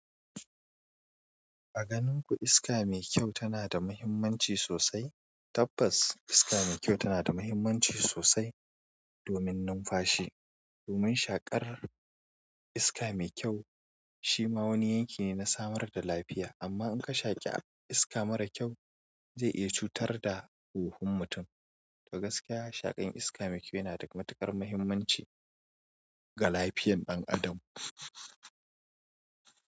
A ganin ku iska mai kyau tana da mahimmanci sosai? Tabbas iska mai kyau tana da mahimmanci sosai domin numfashi. Domin shaƙar iska mai kyau shi ma wani yanki ne na samar da lafiya. Amma in ka shaƙe iska mara kyau zai iya cutar da huhun mutum. To gaskiya shaƙan iska mai kyau yana da matuƙar mahimmanci ga lafiyan ɗan adam.